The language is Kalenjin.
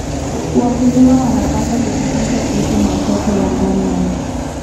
Wakulima wanapaswa kujifunza kuhusu masoko ya ndani na ya nje.